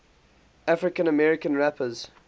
african american rappers